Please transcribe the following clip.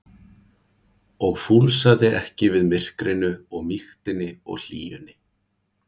og fúlsaði ekki við myrkrinu og mýktinni og hlýjunni.